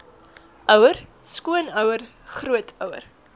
ouer skoonouer grootouer